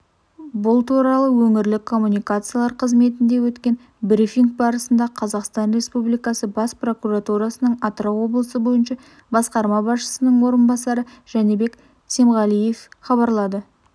бұл туралы өңірлік коммуникациялар қызметінде өткен брифинг барысындақазақстан республикасы бас прокуратурасының атырау облысы бойынша басқарма басшысының орынбасары жәнібек семғалиевхабарлады